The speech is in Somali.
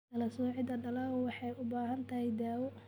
Kala-soocidda dalaggu waxay u baahan tahay daawo.